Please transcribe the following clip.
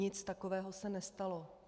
Nic takového se nestalo.